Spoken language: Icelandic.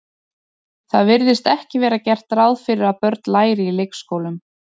Það virðist ekki vera gert ráð fyrir að börn læri í leikskólum.